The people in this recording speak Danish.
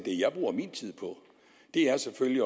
jeg bruger min tid på er selvfølgelig